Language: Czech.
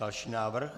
Další návrh.